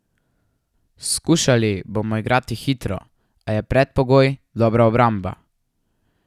Skušali bomo igrati hitro, a je predpogoj dobra obramba.